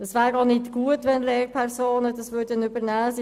Es wäre auch nicht gut, wenn diese von Lehrpersonen übernommen würde.